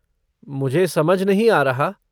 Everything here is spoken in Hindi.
मुझे समझ नहीं आ रहा।